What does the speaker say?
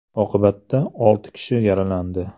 Oqibatda olti kishi yaralandi.